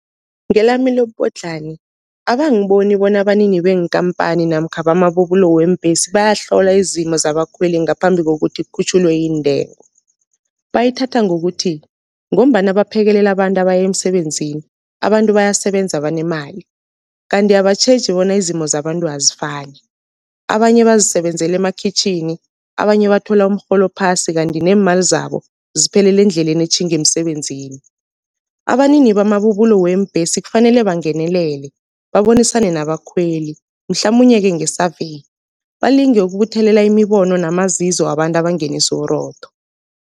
Ngelami lobubodlhani, abangiboni bona abanini beenkhamphani namkha bamabubulo weembhesi bayahlola izimo zabakhweli ngaphambi kokuthi kukhutjhulwe iintengo. Bayithatha ngokuthi ngombana baphekelela abantu abaya emsebenzini, abantu bayasebenza banemali, kanti abatjheji bona izimo zabantu azifani. Abanye bazisebenzela emakhitjhini, abanye bathola umrholo ophasi kanti neemali zabo ziphelela endleleni etjhinga emsebenzini. Abanini bamabubulo weembhesi kufanele bangenelele, babonisane nabakhweli mhlamunye-ke nge-survey balinge ukubuthelela imibono namazizo wabantu abangenisa uburotho.